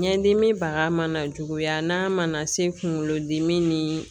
Ɲɛdimi baga mana juguya n'a mana se kungolodimi ni